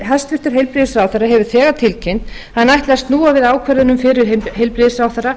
hæstvirtur heilbrigðisráðherra hefur þegar tilkynnt að hann ætli að snúa við ákvörðunum fyrrverandi heilbrigðisráðherra